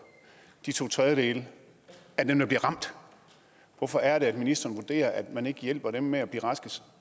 de to tredjedele af dem der bliver ramt hvorfor er det at ministeren vurderer at man ikke hjælper dem med at blive raske